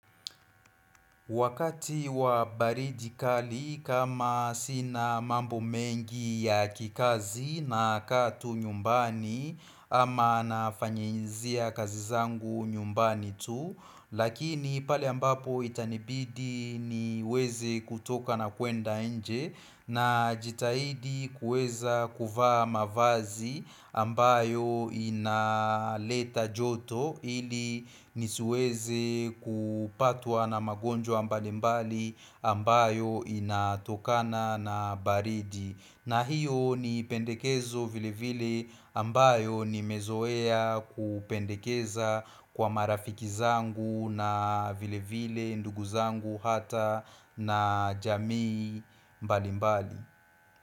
Wakati wa baridi kali kama sina mambo mengi ya kikazi nakaa tu nyumbani ama nafanyinzia kazi zangu nyumbani tu Lakini pale ambapo itanibidi niweze kutoka na kuenda nje najitahidi kuweza kuvaa mavazi ambayo inaleta joto ili nisiweze kupatwa na magonjwa mbalimbali ambayo inatokana na baridi. Na hiyo ni pendekezo vilevile ambayo nimezoea kupendekeza kwa marafiki zangu na vilevile ndugu zangu hata na jamii mbali mbali.